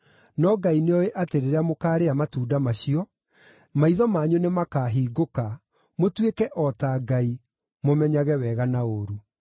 No Ngai nĩoĩ atĩ rĩrĩa mũkaarĩa matunda macio, maitho manyu nĩmakahingũka, mũtuĩke o ta Ngai, mũmenyage wega na ũũru.”